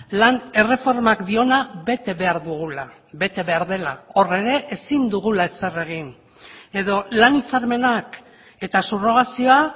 lan erreformak diona bete behar dugula bete behar dela hor ere ezin dugula ezer egin edo lan hitzarmenak eta subrogazioa